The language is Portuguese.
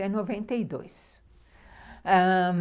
até noventa e dois, ãh...